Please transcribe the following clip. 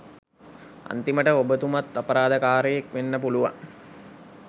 අන්තිමට ඔබතුමත් අපරාධකාරයෙක් වෙන්න පුළුවන්